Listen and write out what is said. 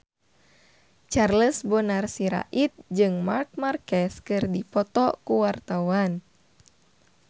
Charles Bonar Sirait jeung Marc Marquez keur dipoto ku wartawan